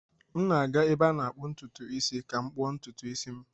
M na-aga ebe a na-akpụ ntutu isi ka m kpuo ntutu isi m.